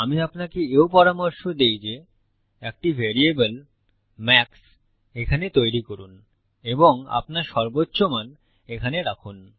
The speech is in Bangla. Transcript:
আমি আপনাকে এও পরামর্শ দেই যে একটি ভ্যারিয়েবল মাক্স এখানে তৈরী করুন এবং আপনার সর্বোচ্চ মান এখানে রাখুন